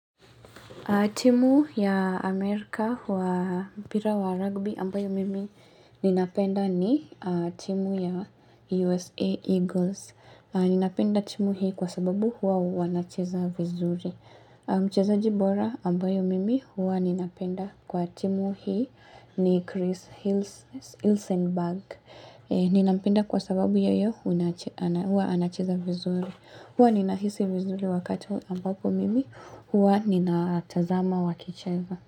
Timu ya Amerka wa mpira wa rugby ambayo mimi ninapenda ni timu ya USA Eagles. Ninapenda timu hii kwa sababu huwa wanacheza vizuri. Mcheza jibora ambayo mimi huwa ninapenda kwa timu hii ni Chris Hils Hilsenberg. Ninampenda kwa sababu yeye hunach huwa anacheza vizuri. Hua nina hisi vizuri wakati ambapo mimi Hua nina atazama wakicheza.